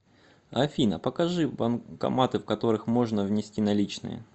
афина покажи банкоматы в которых можно внести наличные